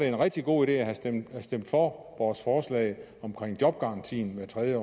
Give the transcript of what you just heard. en rigtig god idé at stemme for vores forslag om jobgaranti hvert tredje